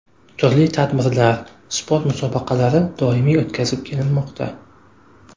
Turli tadbirlar, sport musobaqalari doimiy o‘tkazib kelinmoqda.